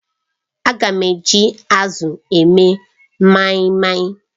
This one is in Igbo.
Aga m eji azụ eme maimai.